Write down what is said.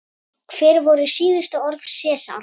Hver voru síðustu orð Sesars?